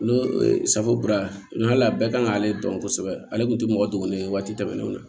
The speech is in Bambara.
N'o ye safinɛ kura la bɛɛ kan k'ale dɔn kosɛbɛ ale kun tɛ mɔgɔ dɔgɔnin ye waati tɛmɛnenw na